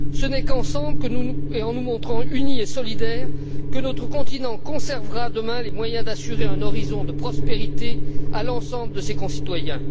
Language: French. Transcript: Ce n'est qu'ensemble, et en nous montrant unis et solidaires que, sur notre continent, nous conserverons demain les moyens d'assurer un horizon de prospérité à l'ensemble de nos concitoyens.